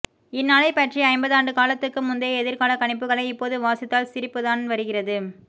இந்நாளைப்பற்றிய ஐம்பதாண்டுக்காலத்துக்கு முந்தைய எதிர்கால கணிப்புகளை இப்போது வாசித்தால் சிரிப்புதான் வருகிறது